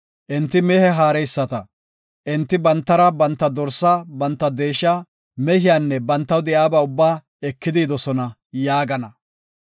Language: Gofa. Enti mehe haareyisata, enti bantara banta dorsa, banta deesha, mehiyanne bantaw de7iyaba ubbaa ekidi yidosona’ yaagana.